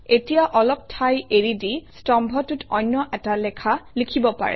তিয়া অলপ ঠাই এৰি দি স্তম্ভটোত অন্য এটা লেখা লিখিব পাৰে